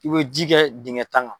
I bɛ ji kɛ dingɛ tan kan.